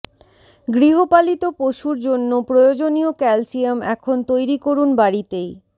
গৃহপালিত পশুর জন্য প্রয়োজনীয় ক্যালসিয়াম এখন তৈরি করুন বাড়িতেই